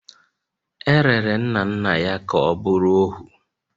E rere nna nna ya ka ọ bụrụ ohu